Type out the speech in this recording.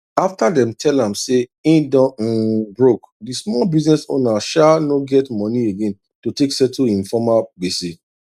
after dem tell am say e don um broke d small business owner sha no get moni again to take settle him former gbese